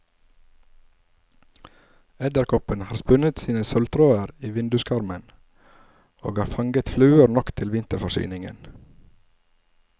Edderkoppen har spunnet sine sølvtråder i vinduskarmen, og har fanget fluer nok til vinterforsyningen.